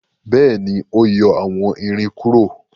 béèni o yọ àwón ìrìn kúrò.